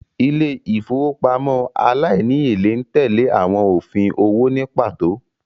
Ilé ìfowópamọ́ aláìníèlé ń tẹ́lẹ̀ àwọn òfin owó ní pàtó